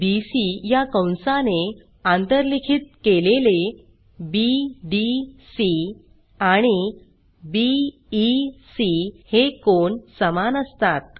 BC या कंसाने आंतरलिखित केलेले बीडीसी आणि बीईसी हे कोन समान असतात